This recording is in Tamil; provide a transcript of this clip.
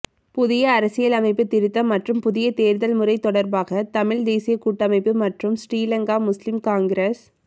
புதிய அரசியலமைப்பு திருத்தம் மற்றும் புதிய தேர்தல் முறை தொடர்பாக தமிழ் தேசியக் கூட்டமைப்பு மற்றும் ஸ்ரீலங்கா முஸ்லிம் காங்கிரஸ்